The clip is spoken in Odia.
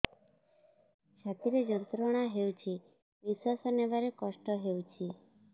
ଛାତି ରେ ଯନ୍ତ୍ରଣା ହେଉଛି ନିଶ୍ଵାସ ନେବାର କଷ୍ଟ ହେଉଛି